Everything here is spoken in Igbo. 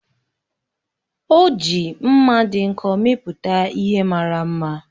O ji mma dị nkọ mepụta ihe mara mma.